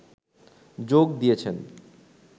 যোগ দিয়েছেন